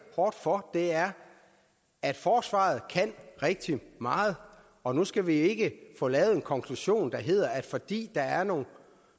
hårdt for er at forsvaret kan rigtig meget og nu skal vi ikke få lavet en konklusion der hedder at fordi der er nogle